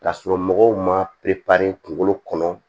K'a sɔrɔ mɔgɔw ma kunkolo kɔnɔ